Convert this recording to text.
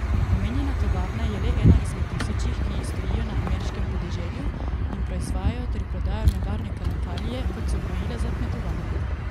Omenjena tovarna je le ena izmed tisočih, ki stojijo na ameriškem podeželju in proizvajajo ter prodajajo nevarne kemikalije kot so gnojila za kmetovanje.